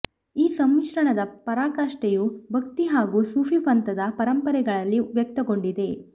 ಈ ಸಮ್ಮಿಶ್ರಣದ ಪರಾಕಾಷ್ಠೆಯು ಭಕ್ತಿ ಹಾಗೂ ಸೂಫಿ ಪಂಥದ ಪರಂಪರೆಗಳಲ್ಲಿ ವ್ಯಕ್ತಗೊಂಡಿದೆ